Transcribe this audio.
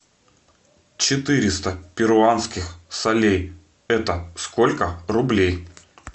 четыреста перуанских солей это сколько рублей